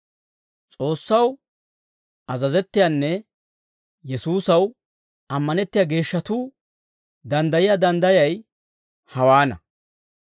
S'oossaw azazettiyaanne Yesuusaw ammanettiyaa geeshshatuu danddayiyaa danddayay hawaana.